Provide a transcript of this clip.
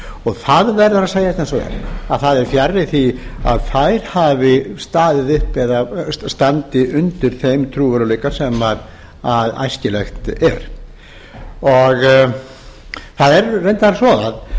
og það verður að segjast eins og er að það er fjarri því að þær hafi staðið uppi eða standi undir þeim trúverðugleika sem æskilegt er það er reyndar